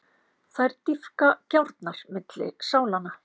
Þær dýpka gjárnar milli sálanna.